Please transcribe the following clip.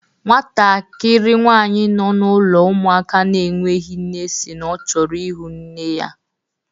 Nwatakịrị nwsanyị nọ n'ụlọ ụmụaka na-enweghị nne si na ọ chọrọ ịhụ nne ya